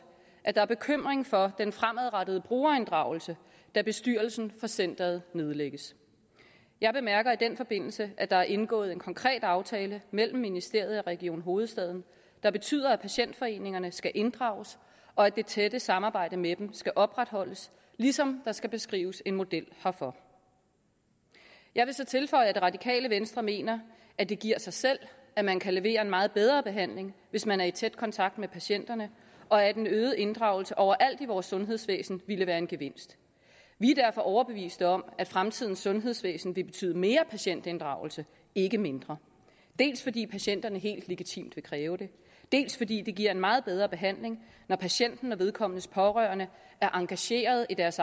at der er bekymring for den fremadrettede brugerinddragelse da bestyrelsen for centeret nedlægges jeg bemærker i den forbindelse at der er indgået en konkret aftale mellem ministeriet og region hovedstaden der betyder at patientforeningerne skal inddrages og at det tætte samarbejde med dem skal opretholdes ligesom der skal beskrives en model herfor jeg vil så tilføje at det radikale venstre mener at det giver sig selv at man kan levere en meget bedre behandling hvis man er i tæt kontakt med patienterne og at en øget inddragelse over alt i vores sundhedsvæsen ville være en gevinst vi er derfor overbeviste om at fremtidens sundhedsvæsen vil betyde mere patientinddragelse ikke mindre dels fordi patienterne helt legitimt vil kræve det dels fordi det giver en meget bedre behandling når patienten og vedkommendes pårørende er engagerede i deres